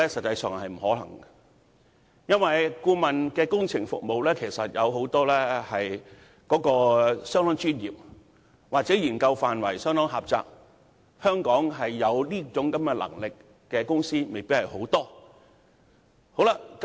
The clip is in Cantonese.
由於有很多顧問工程服務均相當專業，研究範圍也相當狹窄，香港未必有很多公司具備這方面的能力。